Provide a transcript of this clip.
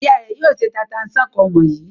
Ìyá rẹ̀ yóò se tata-n-sánkọ wọ̀nyí.